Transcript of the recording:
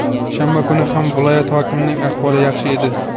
shanba kuni ham viloyat hokimining ahvoli yaxshi edi.